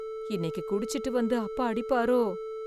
இன்னைக்கு குடிச்சுட்டு வந்து அப்பா அடிப்போரோ?